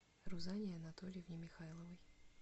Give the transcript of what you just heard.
рузанне анатольевне михайловой